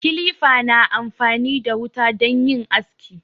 Kilifa na amfani da wuta don yin aski.